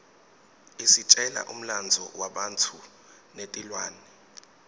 isitjela umlandvo webantfu netilwane